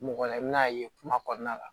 Mɔgɔ la i bɛn'a ye kuma kɔnɔna la